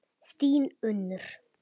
Þín, Unnur.